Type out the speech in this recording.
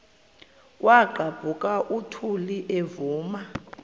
kwaqhaphuk uthuli evuma